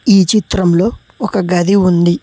ఈ చిత్రంలో ఒక గది ఉంది.